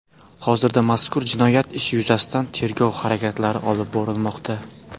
Hozirda mazkur jinoyat ishi yuzasidan tergov harakatlari olib borilmoqda.